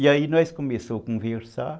E aí nós começamos a conversar.